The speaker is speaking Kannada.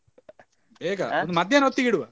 ಬೇಗ ಹೊತ್ತಿಗೆ ಇಡುವ.